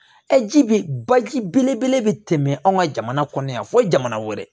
ji be baji belebele bɛ tɛmɛ anw ka jamana kɔnɔ yan fo jamana wɛrɛ